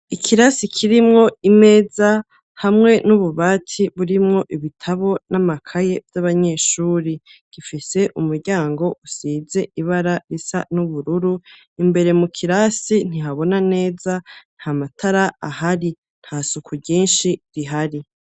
Ikirasi kirimwo imeza hamwe n'ububati burimwo ibitabo n'amakaye vy'abanyeshure, gifise umuryango usize ibara risa n'ubururu, imbere mu kirasi ntihabona neza, nta matara ahari. Nta suku ryinshi rihari.